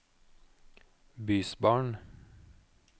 bysbarn